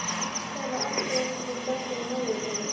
Þar er alltaf EITTHVAÐ sem bendir á morðingjann.